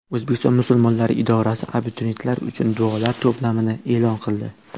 O‘zbekiston musulmonlari idorasi abituriyentlar uchun duolar to‘plamini e’lon qildi.